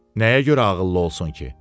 Nəyə görə ağıllı olsun ki?